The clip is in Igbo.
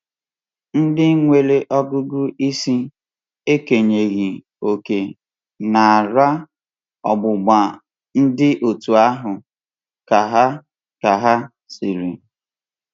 Ndị nwere ọgụgụ isi… ekenyeghị um òkè n’ara um ọgbụgba dị otú ahụ,” ka ha ka ha um sịrị.